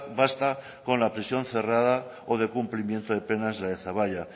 basta con la prisión cerrada o el cumplimiento de penas de zaballa